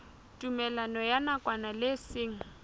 tumellano ya nakwana le seng